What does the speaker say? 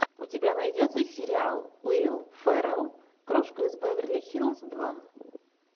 у тебя найдется сериал уилл феррелл крошка из беверли хиллз два